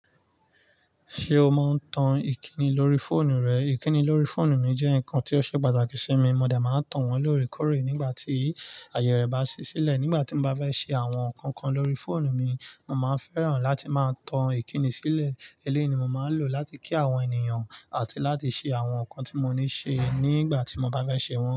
Ṣé o máa ń tan ìkíni lórí fóònù rẹ? Ìkíni lórí fóònù mi jẹ́ nǹkan tí ó ṣe pàtàkì sí mi. Mo dẹ̀ máa ń tàn wọn lóòrèkóòrè nígbà tí ààyè rẹ̀ bá ṣí sílẹ̀. Nígbà tí mo bá fẹ́ ṣe àwọn nǹkan kan lórí fóònù mi, mo máa ń fẹ́ràn láti máa tan ìkíni sílẹ̀. Eléyìí ni mo máa ń lò láti kí àwọn ènìyàn àti láti ṣe àwọn nǹkan tí mo ní ṣe nígbà tí mo bá fẹ́ ṣe wọn.